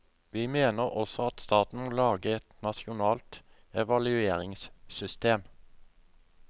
Vi mener også at staten må lage et nasjonalt evalueringssystem.